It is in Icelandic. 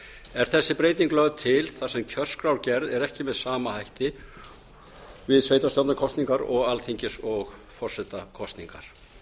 er þessi breyting lögð til þar sem kjörskrárgerð er ekki með sama hætti við sveitarstjórnarkosningar og alþingis og forsetakosningar